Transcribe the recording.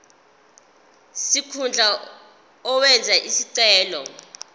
sikhundla owenze isicelo